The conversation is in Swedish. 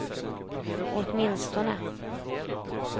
åtminstone